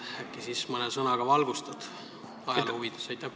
Äkki siis mõne sõnaga valgustad ajaloo huvides?